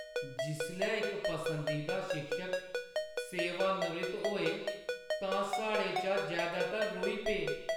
जिसलै इक पसंदीदा शिक्षक सेवानिवृत्त होए तां साढ़े चा जैदातर रोई पे।